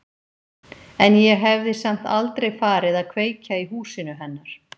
En ég hefði samt aldrei farið að kveikja í húsinu hennar.